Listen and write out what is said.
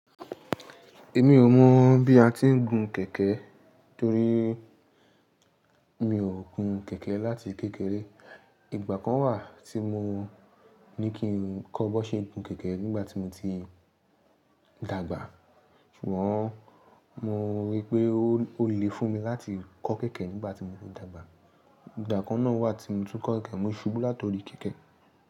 Èmi ò mọ̀ bí a ti ń gun kẹ̀kẹ́ torí mi ò gun kẹ̀kẹ́ láti kékeré. Ìgbà kan wà tí mo ní kí ń kọ́ bó ṣe ń gun kẹ̀kẹ́ nígbà tí mo ti dàgbà. Ṣùgbọ́n mo rí i pé ó le fún mi láti kọ́ kẹ̀kẹ́ nígbà tí mo ti dàgbà. Ìgbà kan náà wà tí mo tún kọ́ kẹ̀kẹ́, mo ṣubú látori kẹ̀kẹ́.